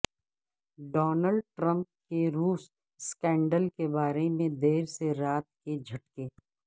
Donald Trump کے روس scandal کے بارے میں دیر سے رات کے جھٹکے